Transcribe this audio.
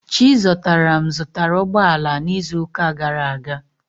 Chizọtaram zụtara ụgbọ ala n'izu ụka gara aga.